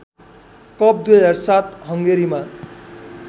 cup २००७ हङ्गेरीमा